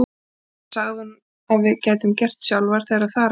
Allt þetta sagði hún að við gætum gert sjálfar þegar þar að kæmi.